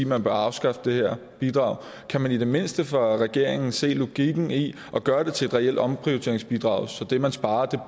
man bør afskaffe det her bidrag kan man i det mindste fra regeringens side se logikken i at gøre det til et reelt omprioriteringsbidrag så det man sparer